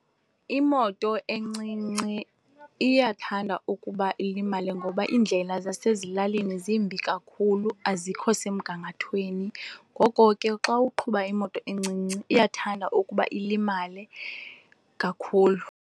Imoto encinci iyathanda ukuba ilimale ngoba iindlela zasezilalini zimbi kakhulu, azikho semgangathweni. Ngoko ke xa uqhuba imoto encinci iyathanda ukuba ilimale kakhulu.